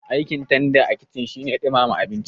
Aikin tanda a kici shine ɗumama abinci